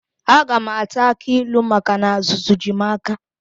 Aga m ata akị ilu maka na azụzụ ji m aka.